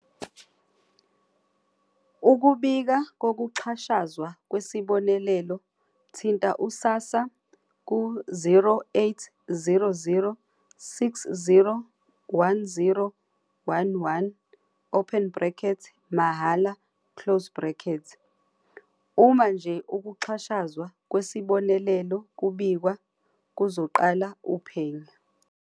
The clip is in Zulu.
Ukubika ngokuxhashazwa kwesibonelelo, thinta u-SASSA ku-0800 60 10 11, mahhala."Uma nje ukuxhashazwa kwesibonelelo kubikwa, kuzoqala uphenyo."